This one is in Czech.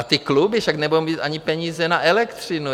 A ty kluby - však nebudou mít ani peníze na elektřinu.